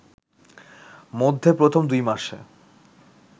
মধ্যে প্রথম দুই মাসে